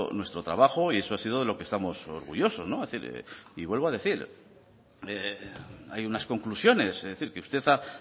nuestro trabajo y eso ha sido de lo que estamos orgullosos y vuelvo a decir hay unas conclusiones es decir que usted ha